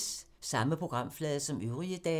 Samme programflade som øvrige dage